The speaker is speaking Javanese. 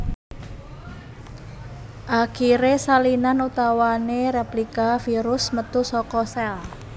Akiré salinan utawané réplika virus metu saka sèl